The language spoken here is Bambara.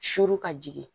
Suru ka jigin